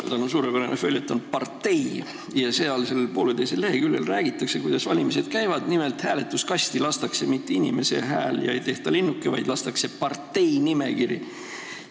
Tal on suurepärane följeton "Partei" ja seal räägitakse, poolteisel leheküljel, kuidas valimised käivad, nimelt, hääletuskasti ei lasta mitte inimese häält ega tehta linnukest, vaid lastakse parteinimekiri.